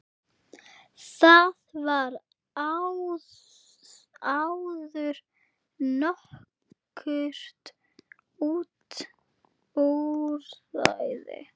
Þaðan var áður nokkurt útræði.